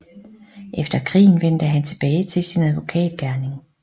Efter krigen vendte han tilbage til sin advokat gerning